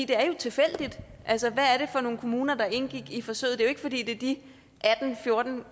det er jo tilfældigt altså hvad var det for nogle kommuner der indgik i forsøget det er jo ikke fordi det er de fjorten